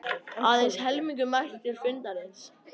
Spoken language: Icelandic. Aðeins helmingur mætti til fundarins